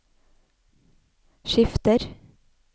skifter